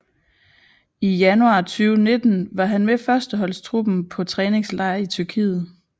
I januar 2019 var han med førsteholdstruppen på træningslejr i Tyrkiet